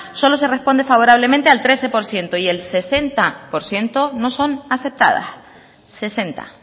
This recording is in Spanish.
solo se responde favorablemente al trece por ciento y el sesenta por ciento no son aceptadas sesenta